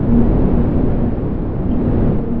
यहां पे जो है इधर-उधर--